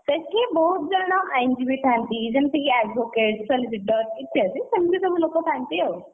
ସେଠି ବହୁତ ଜଣ ଆଇନଜୀବୀ ଥାଆନ୍ତି, ଯେମିତିକି advocate ସେମିତି judge ଇତ୍ୟାଦି ସେମିତି ସବୁ ଲୋକ ଥାଆନ୍ତି ଆଉ,